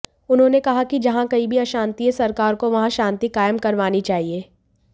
उन्होंने कहा कि जहां कहीं भी अशांति है सरकार को वहां शांति कायम करवानी चाहिए